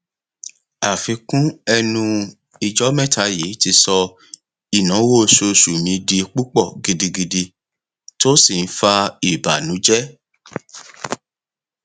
àfikún ẹnu ijọ mẹta yii ti sọ ináwó oṣooṣu mi di púpọ gidigidi tó si n fa ìbànújẹ